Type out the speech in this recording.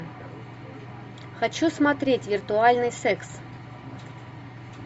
хочу смотреть виртуальный секс